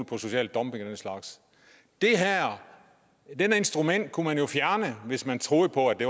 på social dumping og den slags det her instrument kunne man jo fjerne hvis man troede på at det